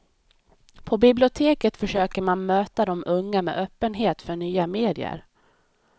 På biblioteket försöker man möta de unga med öppenhet för nya medier.